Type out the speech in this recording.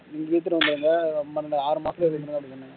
சீக்கிரம் வந்துருங்க ஆறு மாசத்துல வந்துருங்க அப்படின்னு சொன்னாங்க